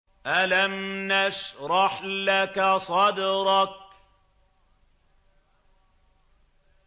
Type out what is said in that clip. أَلَمْ نَشْرَحْ لَكَ صَدْرَكَ